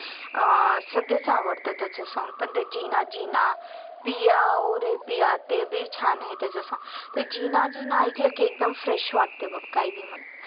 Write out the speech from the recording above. अं सगळेच आवडतात त्याचे song पण ते जिना जिना पिया ओ रे पिया ते भी छान आहे त्याच song ते जिना जिना ऐकल की एकदम fresh वाटतंय बग काय बि म्हण